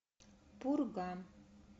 пурга